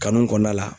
Kanu kɔnɔna la